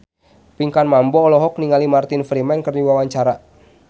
Pinkan Mambo olohok ningali Martin Freeman keur diwawancara